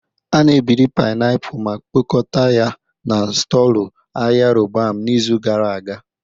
A na-ebiri painiapulu ma kpokọta ya na Storelọ Ahịa Roban n'izu gara aga